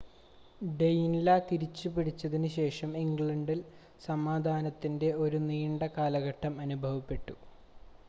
ഡെയിൻലാ തിരിച്ചു പിടിച്ചതിന് ശേഷം ഇംഗ്ലണ്ടിൽ സമാധാനത്തിൻ്റെ ഒരു നീണ്ട കാലഘട്ടം അനുഭവപെട്ടു